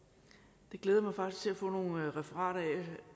det glæder jeg mig faktisk til at få nogle referater af